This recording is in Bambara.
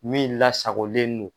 Min lasagolen no.